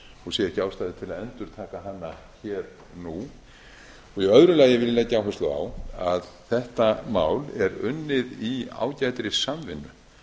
og sé ekki ástæðu til að endurtaka hana hér nú í öðru lagi vil ég leggja áherslu á að þetta mál er unnið í ágætri samvinnu